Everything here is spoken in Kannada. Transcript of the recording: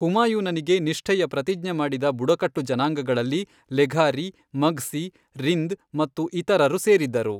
ಹುಮಾಯೂನನಿಗೆ ನಿಷ್ಠೆಯ ಪ್ರತಿಜ್ಞೆ ಮಾಡಿದ ಬುಡಕಟ್ಟು ಜನಾಂಗಗಳಲ್ಲಿ ಲೆಘಾರಿ, ಮಗ್ಸಿ, ರಿಂದ್ ಮತ್ತು ಇತರರು ಸೇರಿದ್ದರು.